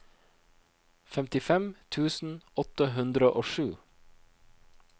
femtifem tusen åtte hundre og sju